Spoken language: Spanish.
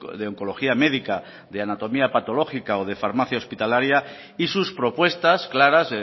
de oncología médica de anatomía patológica o de farmacia hospitalaria y sus propuestas claras